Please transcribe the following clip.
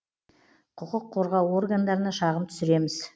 құқық қорғау органдарына шағым түсіреміз